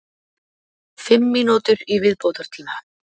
Fimm mínútur í viðbótartíma?